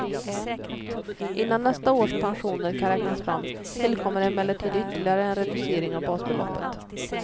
Innan nästa års pensioner kan räknas fram tillkommer emellertid ytterligare en reducering av basbeloppet.